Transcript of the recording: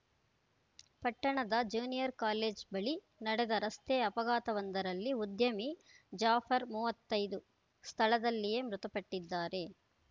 ಪಟ್ಟಣದ junior college ಬಳಿ ನಡೆದ ರಸ್ತೆ ಅಪಘಾತವೊಂದರಲ್ಲಿ ಉದ್ಯಮಿ ಜಾಫರ್‌ ಮೂವತ್ತೈದು ಸ್ಥಳದಲ್ಲಿಯೆ ಮೃತಪಟ್ಟಿದ್ದಾರೆ